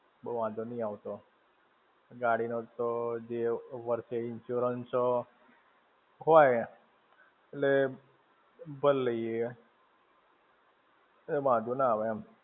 બો વાંધો નહિ આવતો. ગાડી નો તો જે વર્ષે insurance હોય, એટલે ભર લઈએ. એ વાંધો ના આવે એમ.